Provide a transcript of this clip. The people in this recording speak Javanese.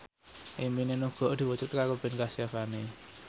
impine Nugroho diwujudke karo Ben Kasyafani